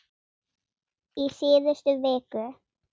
í síðustu viku.